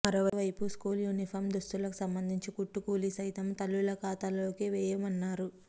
మరోవైపు school uniform దుస్తులకు సంబంధించి కుట్టుకూలి సైతం తల్లుల ఖాతాల్లోకే వేయమన్నారు